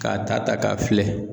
K'a ta ta k'a filɛ.